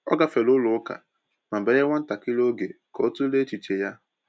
O gafere ụlọ ụka ma banye nwa ntakịrị oge ka ọ tụlee echiche ya.